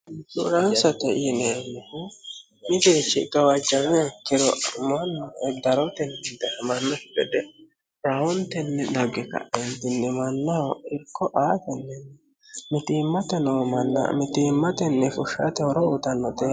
duraansote yineemmih midirichi gawajjame kiro manno eddarotenni idmannoi gede rayontenni dagge ka'einnimannoho irko aatenninni mitiimmate noo manna mitiimmatenni fushshaate horo utannote